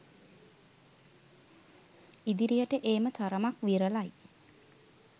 ඉදිරියට ඒම තරමක් විරලයි.